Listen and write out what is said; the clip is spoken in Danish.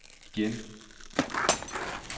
igen